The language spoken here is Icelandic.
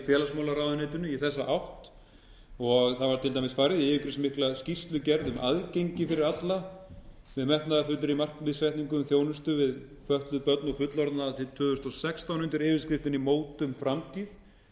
félagsmálaráðuneytinu í þessa átt og það var til dæmis farið í yfirgripsmikla skýrslugerð um aðgengi fyrir alla sem metnaðarfullri markmiðssetningu um þjónustu við fötlun börn og fullorðna að árið tvö þúsund og sextán undir yfirskriftinni mótum framtíð þessi